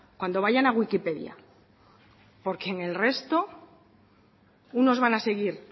cuando vayan a wikipedia porque en el resto unos van a seguir